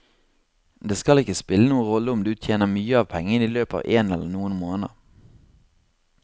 Det skal ikke spille noen rolle om du tjener mye av pengene i løpet av én eller noen måneder.